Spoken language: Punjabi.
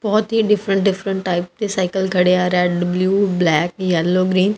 ਬਹੁਤ ਹੀ ਡਿਫਰੈਂਟ ਡਿਫਰੈਂਟ ਟਾਈਪ ਤੇ ਸਾਈਕਲ ਖੜੇ ਆ red blue black yellow green --